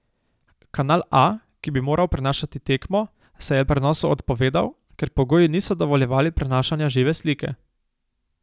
Kanal A, ki bi moral prenašati tekmo, se je prenosu odpovedal, ker pogoji niso dovoljevali prenašanja žive slike.